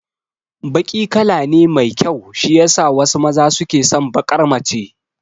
Baki kala ne mai kyau shiyasa wasu maza suke son baƙar mace